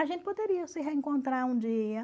A gente poderia se reencontrar um dia.